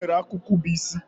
Onwere akụkụ bu isi.